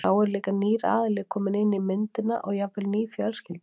Þá er líka nýr aðili kominn inn í myndina og jafnvel ný fjölskylda.